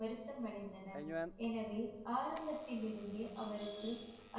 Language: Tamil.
வருத்தம் அடைந்தனர் எனவே ஆரம்பத்திலிருந்தே அவருக்கு